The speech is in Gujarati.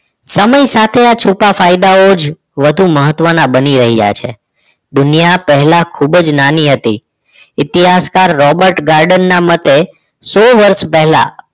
સમય સાથે આ છૂપા ફાયદાઓ જ વધુ મહત્વના બની રહ્યા છે દુનિયા પહેલા ખૂબ જ નાની હતી ઇતિહાસકર રોબર્ટ ગાર્ડનના મતે સો વર્ષ પહેલા